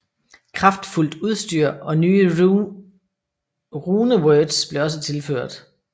Kraftfuldt udstyr og nye runewords blev også tilføjet